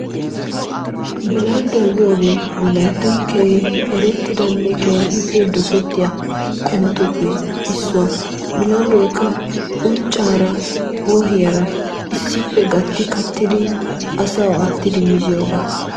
Bilandduwa giyogee wolayttan keehi erettidanne keehippe dosettiya qumatuppe issuwa. Bilanddoykka unccaara wohiyara issippe gatti kattidi asawu aattidi miziyogaa.